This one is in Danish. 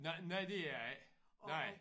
Nej det er det ikke nej